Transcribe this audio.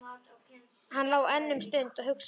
Hann lá enn um stund og hugsaði.